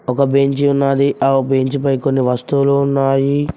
ఒక బెంచి ఉన్నాది ఆ బెంచి పై కొన్ని వస్తువులు ఉన్నాయి.